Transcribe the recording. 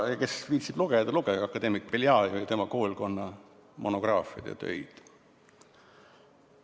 Kes viitsib lugeda, lugege akadeemik Beljajevi ja tema koolkonna monograafiaid ja muid töid.